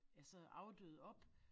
Altså afdøde op